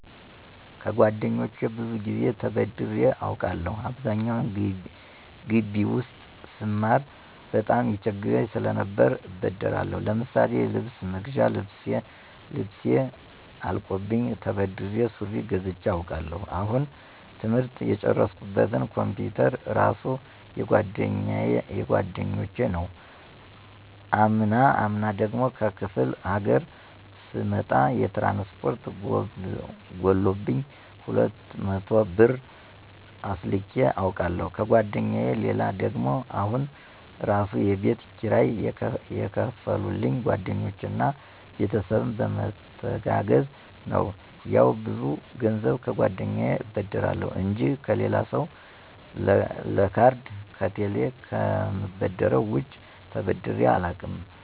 ከጓደኞቼ ብዙ ጊዜ ተበድሬ አውቃለሁ። አብዛኛውን ጊቢ ውስጥ ስማር በጣም ይቸግረኝ ሰለነበር እበደራለሁ። ለምሳሌ የልብስ መግዣ ልብሴ አልቆብኝ ተበድሬ ሱሪ ገዝቸ አውቃለሁ። አሁን ትምህርት የጨረስኩበት ኮምፒውተር እራሱ የጓደኞች ነው። አምና ደግሞ ከክፍለ ሀገር ስመጣ የትራንስፖርት ጎሎብኝ 200 ብር አስልኬ አውቃለሁ ከጓደኛየ። ሌላ ደግሞ አሁን እራሱ የቤት ኪራይ የከፈሉልኝ ጓደኞቼ እና ቤተሰብም በመተጋገዝ ነው። ያው ብዙ ገንዘብ ከጓደኛየ እበደራለሁ እንጂ ከሌላ ሰው ለካርድ ከቴሌ ከምበደረው ውጭ ተበድሬ አላውቅም።